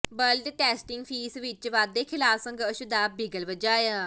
blood testing fee ਵਿੱਚ ਵਾਧੇ ਖ਼ਿਲਾਫ਼ ਸੰਘਰਸ਼ ਦਾ ਬਿਗਲ ਵਜਾਇਆ